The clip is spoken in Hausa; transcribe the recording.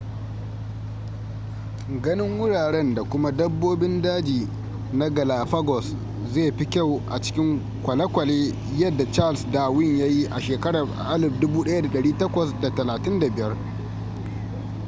ganin wuraren da kuma dabbobin daji na galapagos zai fi kyau a cikin kwalekwale yadda charles darwin ya yi a 1835